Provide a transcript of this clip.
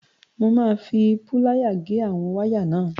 Mo máa fi púlááyà gé àwọn wáyà náà.